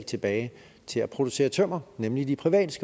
tilbage til at producere tømmer nemlig de private